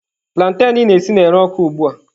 Plantain ị na-esi na-ere ọkụ ugbua.